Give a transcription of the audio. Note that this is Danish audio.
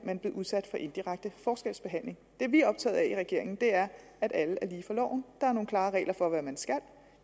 udsat for indirekte forskelsbehandling det vi er optaget af i regeringen er at alle er lige for loven der er nogle klare regler for hvad man skal